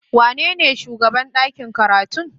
Wanene shugaban ɗakin karatu?